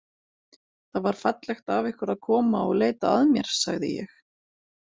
Það var fallegt af ykkur að koma og leita að mér, sagði ég.